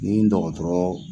Nin dɔgɔtɔrɔ.